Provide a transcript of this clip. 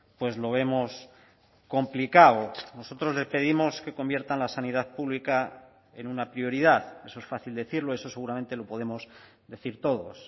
pues lo vemos complicado nosotros le pedimos que conviertan la sanidad pública en una prioridad eso es fácil decirlo eso seguramente lo podemos decir todos